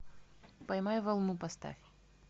поймай волну поставь